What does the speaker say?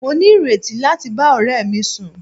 Mo ní ìrètí láti bá ọ̀rẹ́ mi sùn.